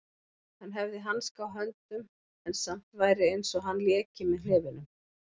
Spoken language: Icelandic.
Hann hefði hanska á höndum en samt væri einsog hann léki með hnefunum.